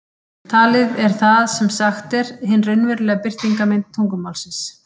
Talið er það sem sagt er, hin raunverulega birtingarmynd tungumálsins.